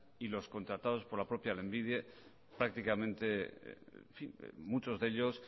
y los contratados por la propia lanbide prácticamente muchos de ellos